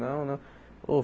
Não, não. Ô